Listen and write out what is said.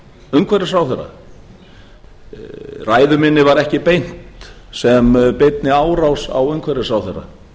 umhverfisráðherra ræðu minni var ekki beint sem beinni árás á umhverfisráðherra